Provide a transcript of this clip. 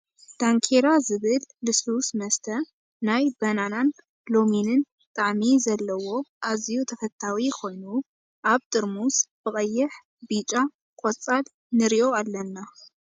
ዳንኬራ ዝብል ልስሉስ መስተ ናይ በናና ን ሎሚንን ጣዕሚ ዘለዋ ኣዝዩ ተፈታዊ ኮይኑ ኣብ ጥርሙዝ ብቀይሕ ፣ ቢጫ ፣ቆፃል ንሪኦ ኣለና ።